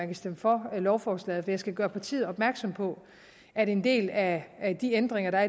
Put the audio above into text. vil stemme for lovforslaget for jeg skal gøre partiet opmærksom på at en del af de ændringer der